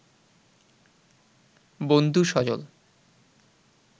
বন্ধু সজল